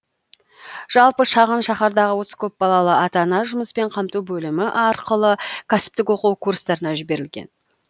жалпы шағын шаһардағы отыз көпбалалы ата ана жұмыспен қамту бөлімі арқылы кәсіптік оқу курстарына жіберілген